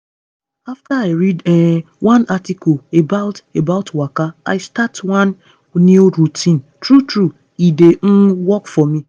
after i read um one article about about waka i start one new routine true true e dey um work for me.